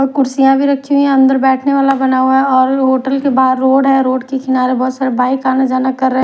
और कुर्सियां भी रखी हुई है अंदर बैठने वाला बना हुआ है और होटल के बाहर रोड है रोड के किनारे बहुत सारी बाइक आना जाना कर रहे--